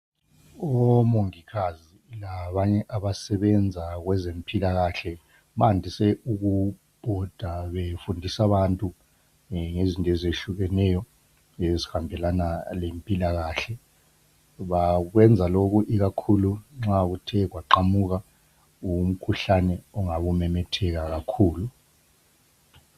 Omongikazi labanye abasebenza kwezempilakahle bandise ukubhoda befundisa abantu ngezinto ezehlukeneyo ezihambelana lempilakahle. Bakwenza lokhu ikakhulu nxa kuthe kwaqhamuka umkhuhlane ongabe umemetheka kakhulu.